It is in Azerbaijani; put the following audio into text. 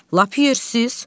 Lap yiyirsiz?